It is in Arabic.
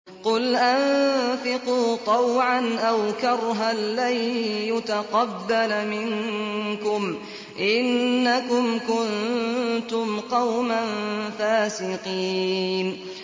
قُلْ أَنفِقُوا طَوْعًا أَوْ كَرْهًا لَّن يُتَقَبَّلَ مِنكُمْ ۖ إِنَّكُمْ كُنتُمْ قَوْمًا فَاسِقِينَ